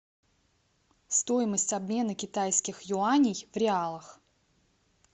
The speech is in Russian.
стоимость обмена китайских юаней в реалах